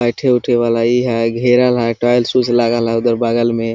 बैठे उठे वाला इ है घेरल है टाइल्स उल्स लागल है उधर बगल में।